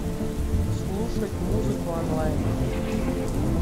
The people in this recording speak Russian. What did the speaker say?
слушать музыку онлайн